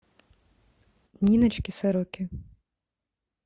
ниночке сороке